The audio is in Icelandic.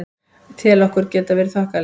Ég tel okkur geta verið þokkalega.